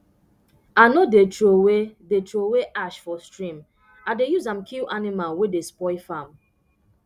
i no dey trowey dey trowey ash for stream i dey use am kill animal wey dey spoil farm